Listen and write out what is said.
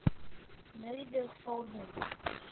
Nauðug fór hún.